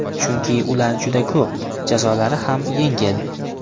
Chunki ular juda ko‘p, jazolari ham yengil .